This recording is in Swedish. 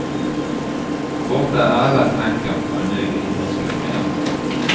Borta är alla tankar på en ny idrottskarriär.